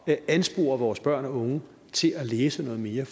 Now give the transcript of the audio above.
at anspore vores børn og unge til at læse noget mere